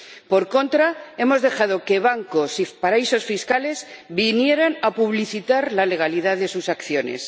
Por contra, hemos dejado que bancos y paraísos fiscales vinieran a publicitar la legalidad de sus acciones.